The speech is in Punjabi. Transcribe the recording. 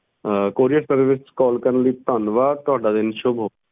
ਆਹ courierservice ਵਿਚ call ਕਰਨ ਲਈ ਧੰਨਵਾਦ ਤੁਹਾਡਾ ਦਿਨ ਸ਼ੁਭ ਹੋਵੇ